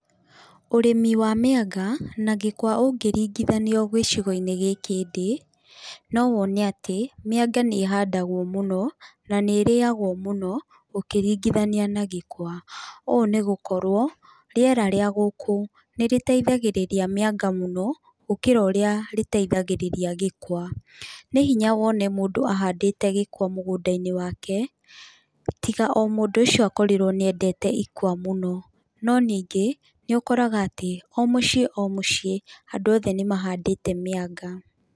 Ũrĩmi wa mĩanga, na gĩkwa ũngĩringithanio gĩcigo-inĩ gĩkĩ ndĩ, no wone atĩ, mĩanga nĩ ĩhandagwo mũno, na nĩ ĩrĩagwo mũno, ũkĩringithania na gĩkwa. Ũũ nĩ gũkorwo rĩera rĩa gũkũ nĩrĩteithagĩrĩria mĩanga mũno, gũkĩra ũrĩa rĩteithagĩrĩria gĩkwa. Nĩ hinya wone mũndũ ahandĩte gĩkwa mũgũnda-inĩ wake, tiga o mũndũ ũcio akorirwo nĩendete ikwa mũno. No ningĩ, nĩũkoraga atĩ, o mũciĩ o mũciĩ, andũ othe nĩmahandĩte mĩanga.